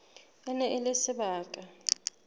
e ne e le sebaka